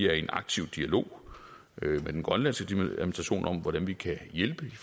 er i en aktiv dialog med den grønlandske administration om hvordan vi kan hjælpe i